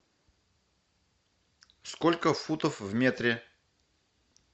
сколько футов в метре